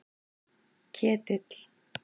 Ketill